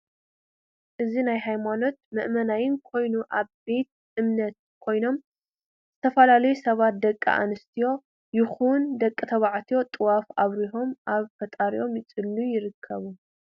እዚናይ ሃይማኖት መእመናን ኮይኖም ኣብ ቤቴ እምነት ኮይኖም ዝተፈላላዩ ሰባት ደቂ ኣንስትዮ ይኩን ደቂ ተባዕትዮ ጥዋፍ ኣብሪሆም ናብ ፈጣሪኦም እዳፀለዩ ይርከቡ።